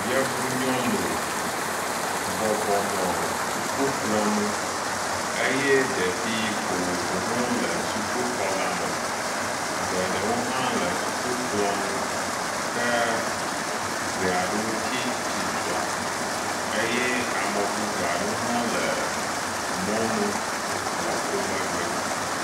Yevu nyɔnu bɔbɔnɔ sukukplɔ nu eye ɖevi vovovowo hã le sukuxɔ la me. Geɖewo hã le sukukplɔ nu ke ŋee aɖewo tsi tsitre eye ame bubu aɖewo hã le mɔnu le wo megbe.